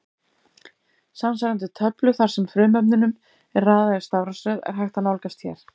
Samsvarandi töflu þar sem frumefnunum er raðað í stafrófsröð er hægt að nálgast hér.